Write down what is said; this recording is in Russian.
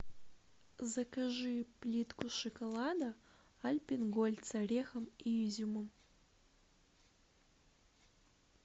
закажи плитку шоколада альпен гольд с орехом и изюмом